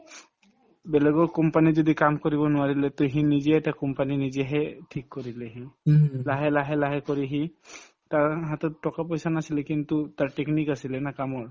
বেলেগৰ company ত যদি কাম কৰিব নোৱাৰিলে তে সি নিজে এটা company নিজেহে ঠিক কৰিলে সি লাহে লাহে লাহে কৰি সি তাৰ হাতত টকা-পইচা নাছিলে কিন্তু তাৰ technique আছিলে না কামৰ